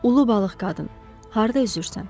Ulu balıq qadın, harda üzürsən?